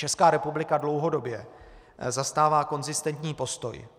Česká republika dlouhodobě zastává konzistentní postoj.